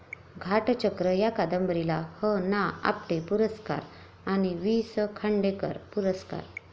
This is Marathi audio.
घाटचक्र या कादंबरीला ह.ना.आपटे पुरस्कार आणि वी.स.खांडेकर पुरस्कार